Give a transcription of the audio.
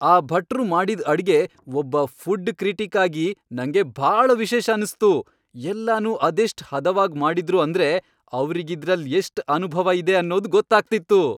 ಆ ಭಟ್ರು ಮಾಡಿದ್ ಅಡ್ಗೆ, ಒಬ್ಬ ಫುಡ್ ಕ್ರಿಟಿಕ್ ಆಗಿ, ನಂಗೆ ಭಾಳ ವಿಶೇಷ ಅನ್ಸ್ತು, ಎಲ್ಲನೂ ಅದೆಷ್ಟ್ ಹದವಾಗ್ ಮಾಡಿದ್ರು ಅಂದ್ರೆ ಅವ್ರಿಗಿದ್ರಲ್ಲ್ ಎಷ್ಟ್ ಅನುಭವ ಇದೆ ಅನ್ನೋದ್ ಗೊತ್ತಾಗ್ತಿತ್ತು.